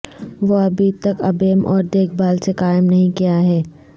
وہ ابھی تک ابیم اور دیکھ بھال سے قائم نہیں کیا ہے